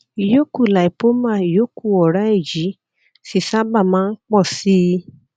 ìyókù lipoma ìyókù ọrá èyí sì sábà máa ń pò sí i